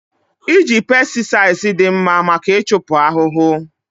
Iji pesticides dị mma maka ịchupụ ahụhụ